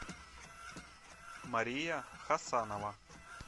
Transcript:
мария хасанова